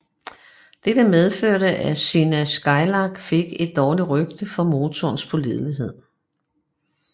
Dette medførte at Cessna Skylark fik et dårligt rygte for motorens pålidelighed